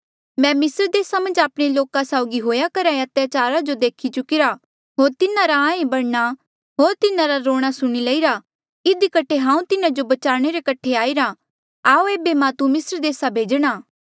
मैं मिस्र देसा मन्झ आपणे लोका साउगी हुएया करहा ऐें अत्याचार जो देखी चुकिरा होर तिन्हारा आंहे भरणा होर तिन्हारा रूणा सुणी लईरा इधी कठे हांऊँ तिन्हा जो बचाणे रे कठे आईरा आऊ एेबे मां तू मिस्र देस भेजणा